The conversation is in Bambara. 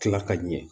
Tila ka ɲɛ